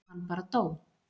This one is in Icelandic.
Hann bara dó.